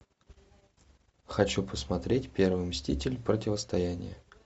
хочу посмотреть первый мститель противостояние